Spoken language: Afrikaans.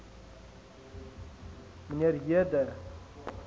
mnr j de